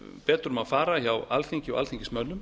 betur má fara hjá alþingi og alþingismönnum